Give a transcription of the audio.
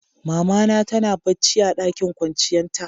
Mama na tana bacci a ɗakin kwanciyan ta.